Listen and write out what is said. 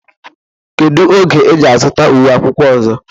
Kedu oge ị ga-azụta uwe akwụkwọ ọzọ?